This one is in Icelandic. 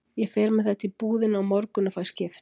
Ég fer með þetta í búðina á morgun og fæ skipt.